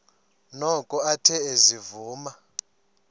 noko athe ezivuma